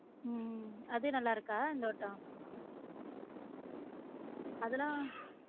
உம் அது நல்லா இருக்கா இந்த வாட்டம் அதுலாம்